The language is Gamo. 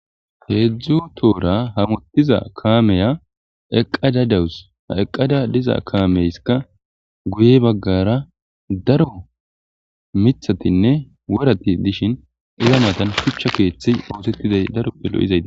Heedzdzu toora hamotiza kaameya eqqada dawus ha eqqada diza kaameyskka guye baggara daro miththatinne worati dishshin iza mattan shuchcha keeththi oosettiday daroppe lo'izayti